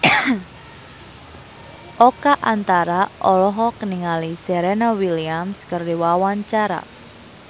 Oka Antara olohok ningali Serena Williams keur diwawancara